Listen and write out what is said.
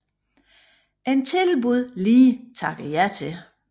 Et tilbud Lee takkede ja til